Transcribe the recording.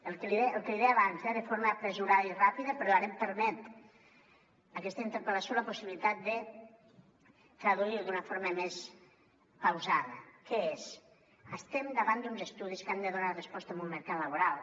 el que li deia abans eh de forma precipitada i ràpida però ara em permet aquesta interpel·lació la possibilitat de traduir ho d’una forma més pausada que és estem davant d’uns estudis que han de donar resposta a un mercat laboral